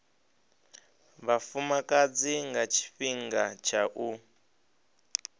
vhafumakadzi nga tshifhinga tsha u